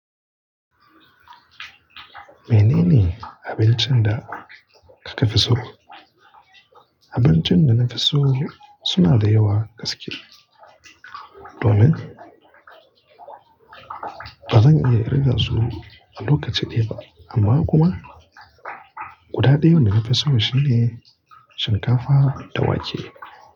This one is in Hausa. Menene abincin da kika fi so? Abincin da na fi so suna da yawa gaske. Domin ba zan iya ƙirga su a lokaci ɗaya ba. Amma kuma guda ɗaya wanda na fi so shine shinkafa da wake.